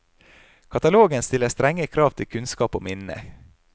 Katalogen stiller strenge krav til kunnskap og minne.